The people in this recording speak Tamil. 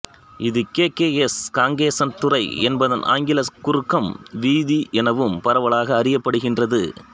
இது கே கே எஸ் காங்கேசன்துறை என்பதன் ஆங்கிலக் குறுக்கம் வீதி எனவும் பரவலாக அறியப்படுகின்றது